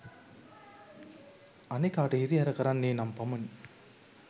අනෙකාට හිරිහැර කරන්නේ නම් පමණි